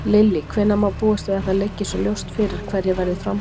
Lillý: Hvenær má búast við að það liggi svo ljóst fyrir hverjir verða í framboði?